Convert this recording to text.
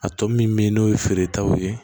A tɔ min bɛ ye n'o ye feeretaw ye